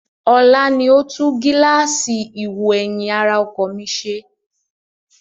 Ọlá ni ó tún gíláàsì ìwò-ẹ̀yìn ara ọkọ̀ mi ṣe